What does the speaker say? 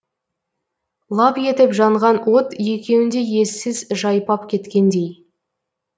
лап етіп жанған от екеуінде ессіз жайпап кеткендей